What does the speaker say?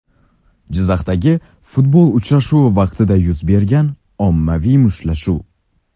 Jizzaxdagi futbol uchrashuvi vaqtida yuz bergan ommaviy mushtlashuv.